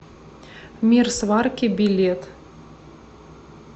мир сварки билет